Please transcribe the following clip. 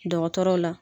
Dɔgɔtɔrɔw la